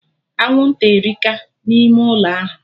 Anwụnta erika na ime ụlọ ahụ